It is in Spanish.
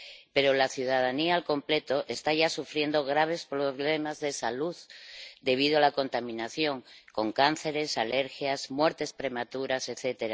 Pero la ciudadanía al completo está ya sufriendo graves problemas de salud debido a la contaminación, con cánceres, alergias, muertes prematuras, etc.